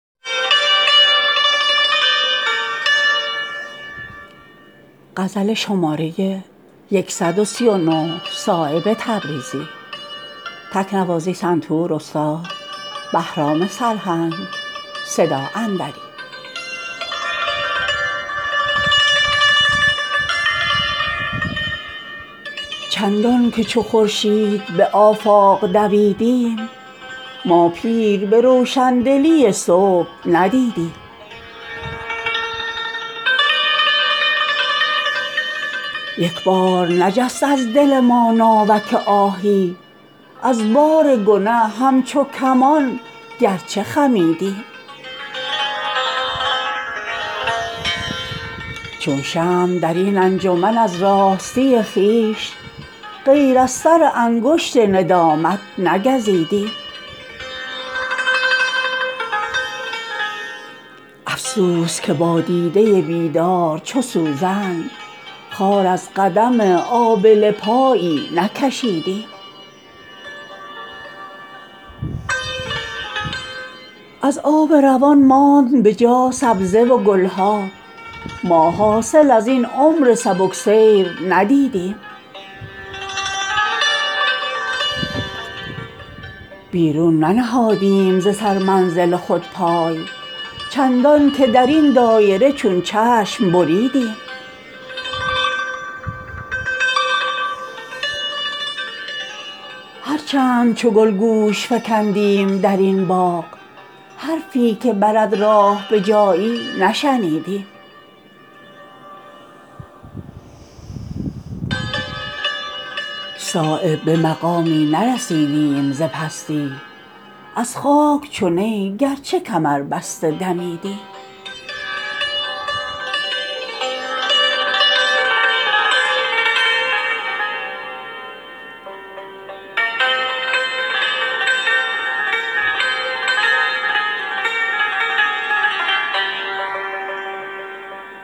از ناله نی راز دل عشق شنیدیم زین کوچه به سر منزل مقصود رسیدیم راهی به سر آن مه شبگرد نبردیم چندان که چو خورشید به هر کوچه دویدیم دیدیم که بر چهره گل رنگ وفا نیست ما نیز سر خود به ته بال کشیدیم در دیده ما نشتر آزار شکستند هر چند چو خون در رگ احباب دویدیم با زلف بگو در پی صید دگر افتد ما از خم دامی که رمیدیم رمیدیم از گریه ما هیچ دلی نرم نگردید در ساعت سنگین سر این تاک بریدیم در گوش ز فریاد جرس پنبه گذاریم نشنیدنی از همسفران بس که شنیدیم چون موج نشد قسمت ما گوهر مقصود هر چند که از طول امل دام کشیدیم دیدیم که در روی زمین اهل دلی نیست چون غنچه به کنج دل خود باز خزیدیم کردیم وداع کف خاکستر هستی روزی که به آن شعله جانسوز رسیدیم دیدیم ندارد سر ما زاهد بیدرد از صومعه خود را به خرابات کشیدیم شیر شتر و روی عرب چند توان دید پا از سفر کعبه مقصود کشیدیم هر چند ز خط راه توان برد به مضمون ما هیچ به مضمون خط او نرسیدیم در سینه دل چاک فکندیم چو صایب این نامه به تدبیر نشد باز دریدیم